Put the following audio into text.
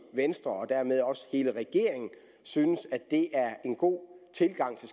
venstre og dermed også hele regeringen synes at det er en god tilgang til